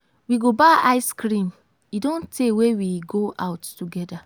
we go buy ice cream. e don tey wey we go out together.